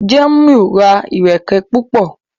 Jamiu ra ẹrẹkẹ púpọ.